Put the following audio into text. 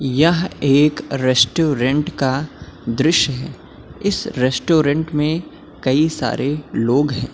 यह एक रेस्टोरेंट का दृश्य है इस रेस्टोरेंट में कई सारे लोग हैं।